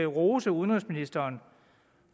rose udenrigsministeren